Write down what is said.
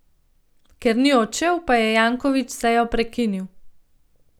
Ker ni odšel, pa je Janković sejo prekinil.